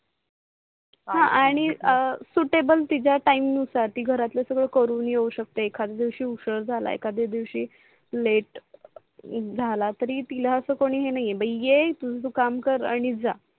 हा आणि SUITABLE तिच्या टाइमनुसार ती घरातल सगड करून येऊ शकते एखदया दिवसी उसीर झाल एखदया दिवसी लाटे झाल तरी तिला अस काही नाही बाई तु तुझ काम कर आणि जा